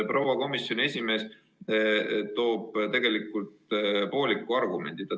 Proua komisjoni esimees tõi tegelikult välja pooliku argumendi.